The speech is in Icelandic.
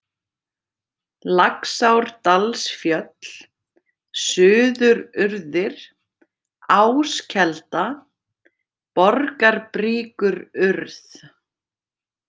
Laxárdalsfjöll, Suðururðir, Áskelda, Borgarbríkururð